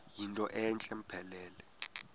yinto entle mpelele